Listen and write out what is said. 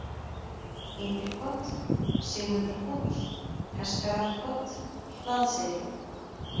Ytri-Kot, Sigmundarhóll, Hestfjarðarkot, Hlaðseyri